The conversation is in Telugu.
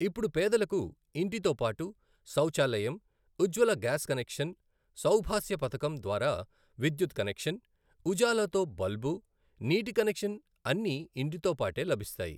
ఇప్పుడు పేదలకు ఇంటితోపాటు శౌచాలయం, ఉజ్వల గ్యాస్ కనెక్షన్, సౌభాస్య పథకం ద్వారా విద్యుత్ కనెక్షన్, ఉజాలా తో బల్బు, నీటి కనెక్షన్ అన్నీ ఇంటితోపాటే లభిస్తాయి.